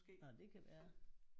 Nåh det kan være